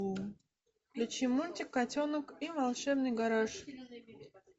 включи мультик котенок и волшебный гараж